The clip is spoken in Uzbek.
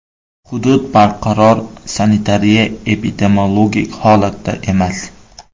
Hudud barqaror sanitariya-epidemiologik holatda emas.